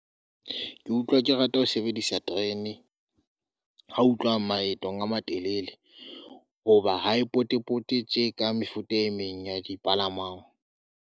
Ke utlwa ke rata ho sebedisa terene, ha o tluhwa maetong a matelele, hoba ha e pote-pote tje ka mefuta e meng ya dipalangwang.